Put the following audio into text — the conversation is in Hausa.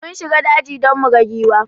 Mun shiga daji don muga giwa